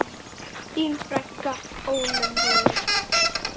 Þín frænka, Ólöf Rún.